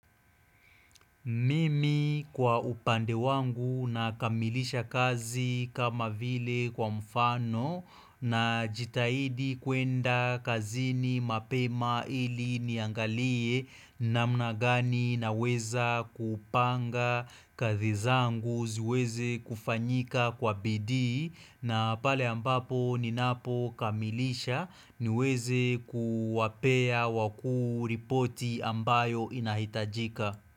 Mimi kwa upande wangu nakamilisha kazi kama vile kwa mfano najitahidi kwenda kazini mapema ili niangalie namna gani naweza kupanga kazi zangu ziweze kufanyika kwa bidii na pale ambapo ninapokamilisha niweze kuwapea wakuu ripoti ambayo inahitajika.